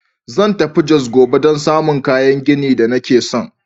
Zan tafi Jos gobe don samun kayan gini da nake son.